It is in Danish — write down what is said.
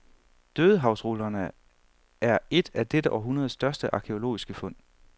Dødehavsrullerne er et af dette århundredes største arkæologiske fund.